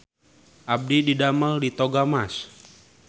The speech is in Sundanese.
Abdi didamel di Toga Mas